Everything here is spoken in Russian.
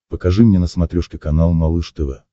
покажи мне на смотрешке канал малыш тв